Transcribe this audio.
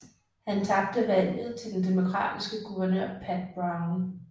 Han tabte valget til den demokratiske guvernør Pat Brown